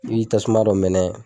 I b'i tasuma dɔ mɛnɛ.